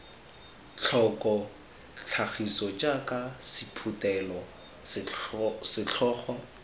tlhoko tlhagiso jaaka sephuthelo setlhogo